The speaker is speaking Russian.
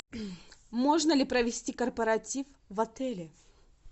можно ли провести корпоратив в отеле